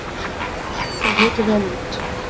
Þau litu vel út.